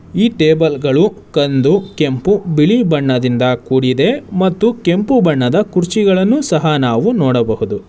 ಈ ಟೇಬಲ್ ಗಳು ಕಂದು ಕೆಂಪು ಬಿಳಿ ಬಣ್ಣದಿಂದ ಕೂಡಿದೆ ಮತ್ತು ಕೆಂಪು ಬಣ್ಣದ ಕುರ್ಚಿಗಳನ್ನು ಸಹ ನಾವು ನೋಡಬಹುದು.